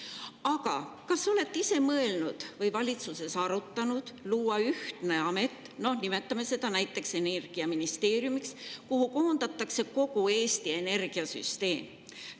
Aga kas te olete seda valitsuses arutanud või ise mõelnud luua ühtne amet, nimetame seda näiteks energiaministeeriumiks, kuhu koondatakse kogu Eesti energiasüsteem.